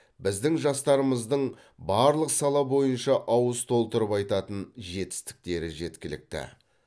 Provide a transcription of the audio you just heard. біздің жастарымыздың барлық сала бойынша ауыз толтырып айтатын жетістіктері жеткілікті